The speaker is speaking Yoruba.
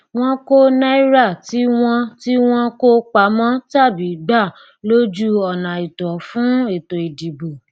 wọn kọ náírà tí wọn tí wọn kó pamọ tàbí gba lójú ònààìtọ fún ètò ìdìbò